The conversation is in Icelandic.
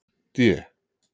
D